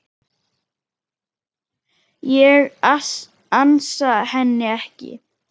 Ég ansa henni ekki.